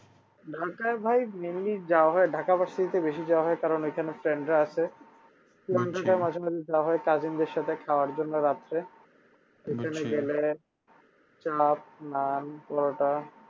ঢাকায় ভাই mainly যাওয়া হয় ঢাকা varsity তে বেশি যাওয়া হয় কারণ ঐখানে friend রা আছে মাঝে মাঝে যাওয়া হয় cousin দের সাথে খাওয়ার জন্য রাত্রে চাপ নান পরোটা